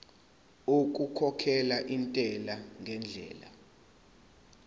okukhokhela intela ngendlela